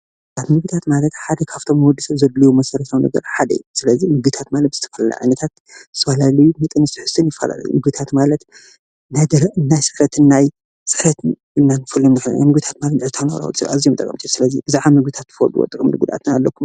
ምግብታት ማለት ሓደ ካብቶም ንወድሰብ ዘድልዮ መሰረታዊ ነገራት ሓደ እዩ:: ስለዚ ምግብታት ዝተፈላለዩ ዓይነታ ት ዝተፈላለዩ መጠን ትሕዝቶን ምግብታት ማለት ናይ ደረቅን ናይ ስዕረትን ኢልካ ንፈልዮም ምግብታት ኣዝዮም ጠቀምቲ እዮም:: ስለዚ ብዛዕባ ምግብታት ጥቅምን ጉድኣትን ኣለኩም ዶ?